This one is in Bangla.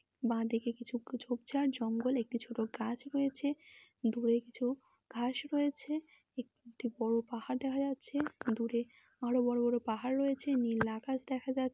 বাঁদিকে কিছু ঝোপঝাড় জঙ্গল। একটি ছোট গাছ রয়েছে দূরে কিছু ঘাস রয়েছে। একটি বড় পাহাড় দেখা যাচ্ছে দূরে আরও বড় বড় পাহাড় রয়েছে । নীল আকাশ দেখা যা--